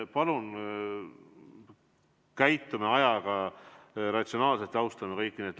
Palun käime ajaga ratsionaalselt ümber ja austame kõiki!